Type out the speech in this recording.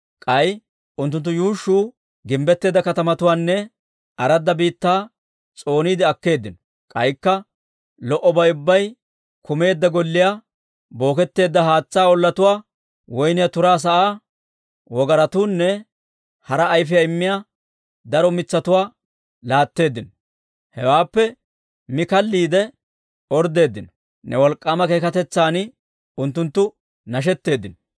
K'ay unttunttu yuushshuu gimbbetteedda katamatuwaanne aradda biittaa s'ooniide akkeeddino; k'aykka lo"obay ubbay kumeedda golliyaa, booketteedda haatsaa ollatuwaa, woyniyaa turaa sa'aa, wogaratuwaanne hara ayfiyaa immiyaa daro mitsatuwaa laatteeddino. Hewaappe mi kalliide orddeeddino; ne wolk'k'aama keekatetsan unttunttu nashetteeddino.